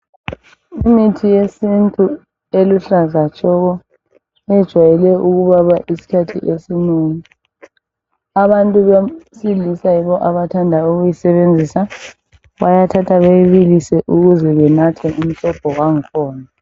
Imithi yesintu eluhlaza tshoko yejwayele ukubana izikhathi ezinengi abantu besilisa yibo abathanda ukuyisebenzisa bayathatha beyibilise ukuze benathe umsobho wangkhona.